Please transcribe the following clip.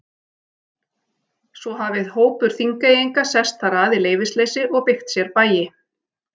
Svo hafi hópur Þingeyinga sest þar að í leyfisleysi og byggt sér bæi.